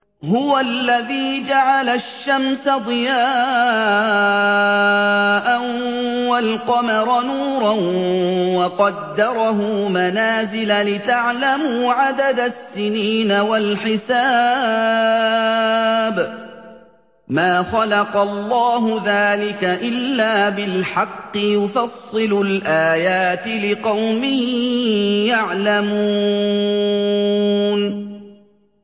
هُوَ الَّذِي جَعَلَ الشَّمْسَ ضِيَاءً وَالْقَمَرَ نُورًا وَقَدَّرَهُ مَنَازِلَ لِتَعْلَمُوا عَدَدَ السِّنِينَ وَالْحِسَابَ ۚ مَا خَلَقَ اللَّهُ ذَٰلِكَ إِلَّا بِالْحَقِّ ۚ يُفَصِّلُ الْآيَاتِ لِقَوْمٍ يَعْلَمُونَ